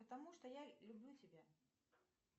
потому что я люблю тебя